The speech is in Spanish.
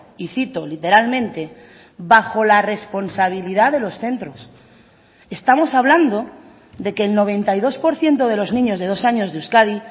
y citó literalmente bajo la responsabilidad de los centros estamos hablando de que el noventa y dos por ciento de los niños de dos años de euskadi